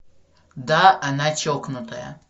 да она чокнутая